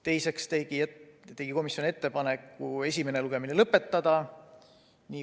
Teiseks tegi komisjon ettepaneku esimene lugemine lõpetada.